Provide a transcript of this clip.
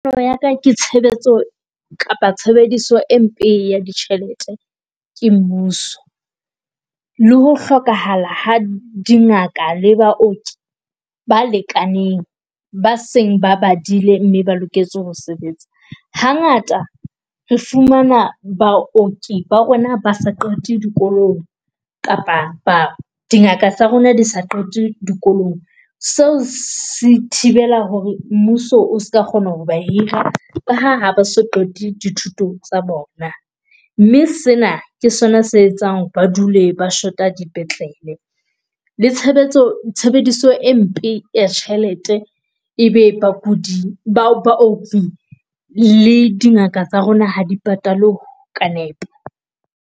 Nna ho ya kanna ke tshebetso kapa tshebediso e mpe ya ditjhelete ke mmuso le ho hlokahala ha dingaka le baoki ba lekaneng, ba seng ba badile mme ba loketse ho sebetsa. Hangata re fumana baoki ba rona ba sa qete dikolong kapa ba dingaka tsa rona di sa qete dikolong. Se se thibela hore mmuso o ska kgona ho ba hira ka ha ba so qete dithuto tsa bona mme sena ke sona se etsang ba dule ba shota dipetlele. Le tshebetso tshebediso e mpe ya tjhelete e be bakudi ba le dingaka tsa rona ha di patalwe ka nepo.